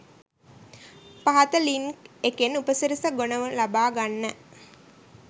පහත ලින්ක් එකෙන් උපසිරස ගොනුව ලබා ගන්න